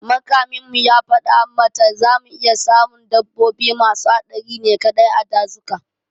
Makamin mu ya fada mata zamu iya samun dabbobi masu haɗari ne kaɗai a dazuka